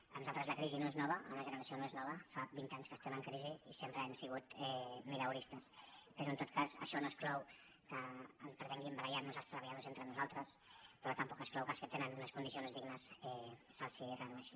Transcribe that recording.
per nosaltres la crisi no és nova a la meva generació no es nova fa vint anys que estem en crisi i sempre hem sigut mileuristes però en tot cas això no exclou que pretenguem barallar nos els treballadors entre nosaltres però tampoc exclou que als que tenen unes condicions dignes se’ls redueixin